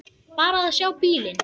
Bara að sjá bílinn.